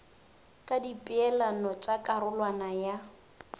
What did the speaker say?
ka dipeelano tša karolwana ya